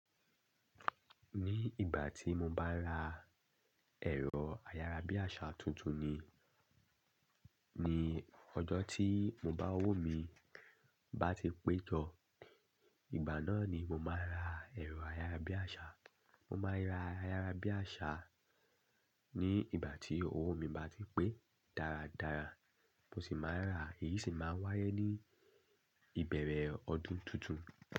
Ní ìgbà tí mo bá n ra ẹ̀rọ ayárabíàṣà tuntun ni, ní ọjọ tí mo bá owó mi bá ti pé jọ, ìgbà náà ni mo máa n ra ẹ̀rọ ayárabíàṣà. Mo máa ra ayárabíàṣà ní ìgbà tí owó mi bá ti pé dáradára, mo sì máa n ra, èyí sì máa n wáyé ní ìbẹ̀rẹ̀ ọdún tuntun.